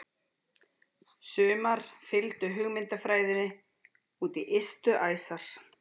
Sumar fylgdu hugmyndafræðinni út í ystu æsar.